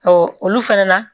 olu fɛnɛ na